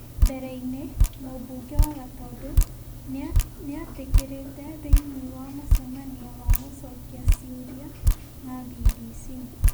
Mbere-inĩ, mũmbunge wa Gatũndũ nĩ atĩkĩrĩtĩ thĩinĩ wa mũcemania wa gũcokia ciũria na BBC ,